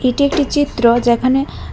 এটি একটি চিত্র যেখানে--